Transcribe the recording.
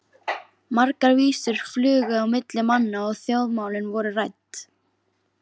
Margar vísur flugu á milli manna og þjóðmálin voru rædd.